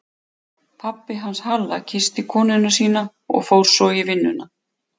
Pabbi hans Halla kyssti konuna sína og fór svo í vinnuna.